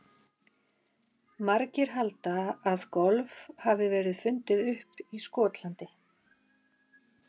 Margir halda að golf hafi verið fundið upp í Skotlandi.